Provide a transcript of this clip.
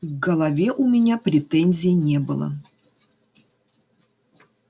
к голове у меня претензий не было